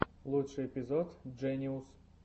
лучший эпизод джениус